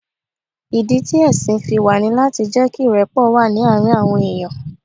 Ìdí ti ẹ̀sìn fi wà ní láti jẹ́ kí ìrẹ́pọ̀ wà ní àárín àwọn èèyàn.